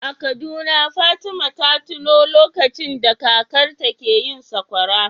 A Kaduna Fatima ta tuno lokacin da kakarta ke yin sakwara.